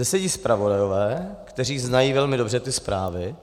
Zde sedí zpravodajové, kteří znají velmi dobře ty zprávy,